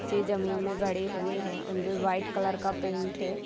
नीचे जमीन में गड़े हुए हैं अंदर वाइट कलर का पेंट हैं ।